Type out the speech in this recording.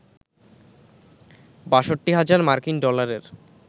৬২ হাজার মার্কিন ডলারের